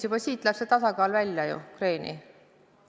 Juba sellega on tasakaal kadunud, on kreeni mindud.